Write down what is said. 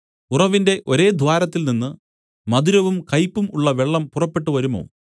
ഉറവിന്റെ ഒരേ ദ്വാരത്തിൽനിന്ന് മധുരവും കയ്പും ഉള്ള വെള്ളം പുറപ്പെട്ടു വരുമോ